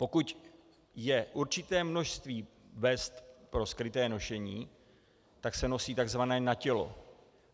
Pokud je určité množství vest pro skryté nošení, tak se nosí tzv. na tělo.